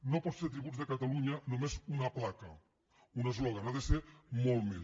no pot ser tributs de catalunya només una placa un eslògan ha de ser molt més